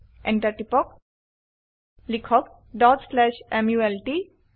Enter টিপক লিখক dot slash malt